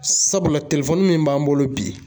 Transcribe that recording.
Sabula telefɔni min b'an bolo bi